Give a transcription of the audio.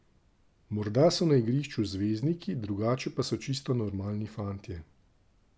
Morda so na igrišču zvezdniki, drugače pa so čisto normalni fantje.